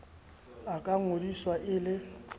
a ka ngodiswa e le